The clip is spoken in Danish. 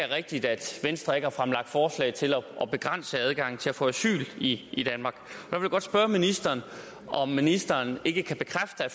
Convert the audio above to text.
rigtigt at venstre ikke har fremlagt forslag til at begrænse adgangen til at få asyl i i danmark jeg vil godt spørge ministeren om ministeren ikke kan bekræfte at